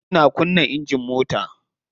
Ina kunna engine mota.